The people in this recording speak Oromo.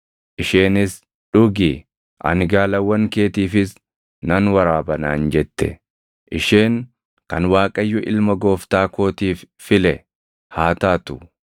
isheenis, “Dhugi; ani gaalawwan keetiifis nan waraaba” naan jette, isheen kan Waaqayyo ilma gooftaa kootiif file haa taatu.’